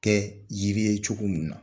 Kɛ yiri ye cogo min na